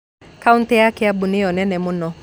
Kautĩ ya Kĩambu nĩyo nene mũno